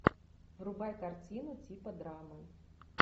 врубай картину типа драмы